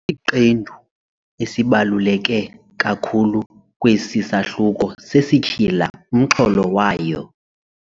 Isiqendu esibaluleke kakhulu kwesi sahluko sesityhila umxholo wayo.